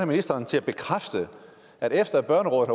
ministeren til at bekræfte at efter børnerådet